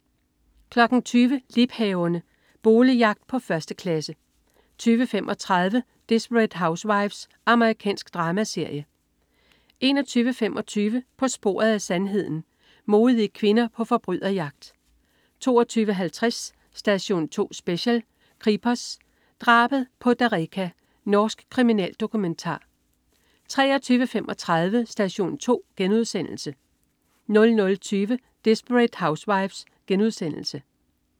20.00 Liebhaverne. Boligjagt på 1. klasse 20.35 Desperate Housewives. Amerikansk dramaserie 21.25 På sporet af sandheden. Modige kvinder på forbryderjagt 22.50 Station 2 Special: Kripos, drabet på Dereka. Norsk kriminaldokumentar 23.35 Station 2* 00.20 Desperate Housewives*